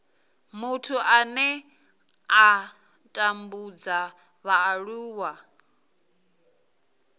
muthu ane a tambudza vhaaluwa